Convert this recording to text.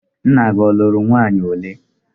Nna gị ọ lụrụ nwaanyị ole?